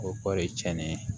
O kɔ de tiɲɛnen